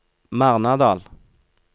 Marnardal